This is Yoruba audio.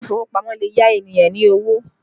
Ile ìfowópamọ́ lè yá ènìyàn ní owó